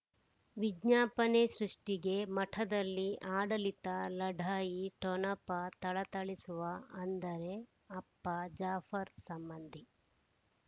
ವಿಜ್ಞಾಪನೆ ಸೃಷ್ಟಿಗೆ ಮಠದಲ್ಲಿ ಆಡಳಿತ ಲಢಾಯಿ ಠೊಣಪ ಥಳಥಳಿಸುವ ಅಂದರೆ ಅಪ್ಪ ಜಾಫರ್ ಸಂಬಂಧಿ